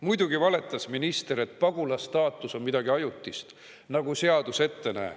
Muidugi valetas minister, kui ta rääkis, et pagulasstaatus on midagi ajutist, nagu seadus ette näeb.